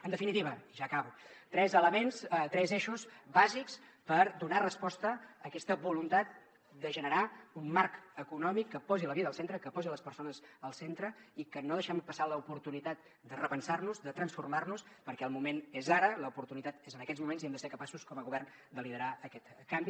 en definitiva i ja acabo tres elements tres eixos bàsics per donar resposta a aquesta voluntat de generar un marc econòmic que posi la vida al centre que posi les persones al centre i que no deixem passar l’oportunitat de repensar nos de transformar nos perquè el moment és ara l’oportunitat és en aquests moments i hem de ser capaços com a govern de liderar aquest canvi